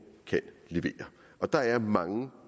kan levere der er mange